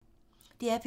DR P2